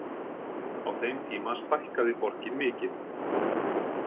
Á þeim tíma stækkaði borgin mikið.